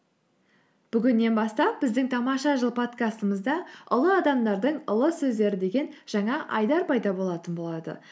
бүгіннен бастап біздің тамаша жыл подкастымызда ұлы адамдардың ұлы сөздері деген жаңа айдар пайда болатын болады